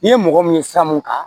N'i ye mɔgɔ min ye sira mun kan